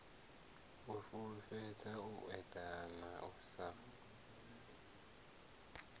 fhulufhedzea u eḓana u sa